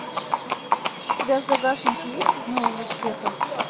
у тебя в загашнике есть из нового света